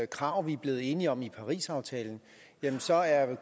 krav vi er blevet enige om i parisaftalen så er